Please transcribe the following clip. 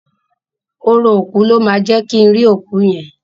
Orò òkú ló máa jẹ́ kin rí òkú yẹn.